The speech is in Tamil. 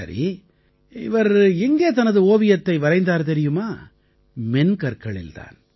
சரி இவர் எங்கே தனது ஓவியத்தை வரைந்தார் தெரியுமா மென்கற்களில் தான்